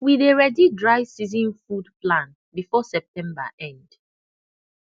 we dey ready dry season food plan before september end